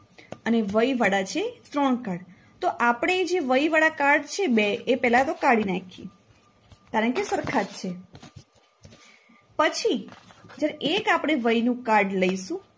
અને વૈ વાળા છે ત્રણ card તો આપણે જે વૈ વાળ card છે જે બે એ પેલા તો કાઢી નાખીએ કારણકે સરખા જ છે. પછી જ્યારે એક આપણે વૈનુ card લઈશું